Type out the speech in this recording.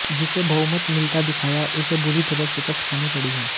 जिसे बहुमत मिलता दिखाया उसे बुरी तरह शिकस्त खानी पड़ी है